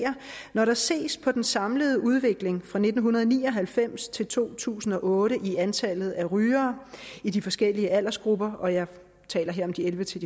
når der ses på den samlede udvikling fra nitten ni og halvfems til to tusind og otte i antallet af rygere i de forskellige aldersgrupper og jeg taler her om de elleve til